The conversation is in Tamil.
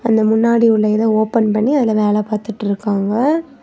இந்த முன்னாடி உள்ள இத ஓபன் பண்ணி அதுல வேல பாத்துட்டுருக்காங்க.